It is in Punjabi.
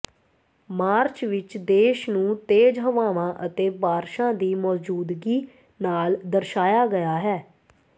ਮਾਰਚ ਵਿਚ ਦੇਸ਼ ਨੂੰ ਤੇਜ਼ ਹਵਾਵਾਂ ਅਤੇ ਬਾਰਸ਼ਾਂ ਦੀ ਮੌਜੂਦਗੀ ਨਾਲ ਦਰਸਾਇਆ ਗਿਆ ਹੈ